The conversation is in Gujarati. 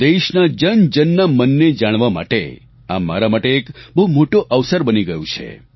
દેશના જનજનના મનને જાણવા માટે આ મારા માટે એક બહુ મોટો અવસર બની ગયું છે